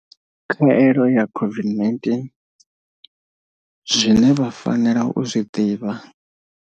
Khaelo ya COVID-19. Zwine vha fanela u zwi ḓivha.